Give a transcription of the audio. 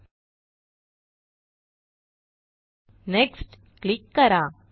एलटीपॉजेग्ट next click करा